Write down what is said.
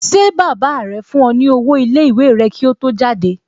Ṣé baba rẹ fún ọ ní owó iléèwé rẹ kí ó tó jáde?